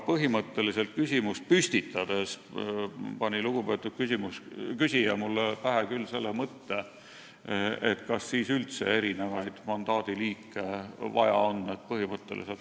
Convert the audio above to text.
Põhimõtteliselt aga pani lugupeetud küsija mulle küsimust esitades pähe selle mõtte, kas on üldse vaja mingeid erinevaid mandaadiliike.